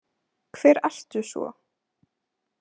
Hver ertu svo?